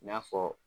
I n'a fɔ